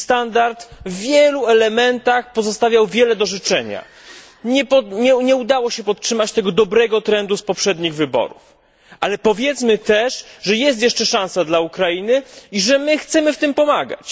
Ich standard w wielu elementach pozostawiał wiele do życzenia. Nie udało się podtrzymać tego dobrego trendu z poprzednich wyborów, ale powiedzmy też, że jest jeszcze szansa dla Ukrainy i że my chcemy jej w tym pomagać.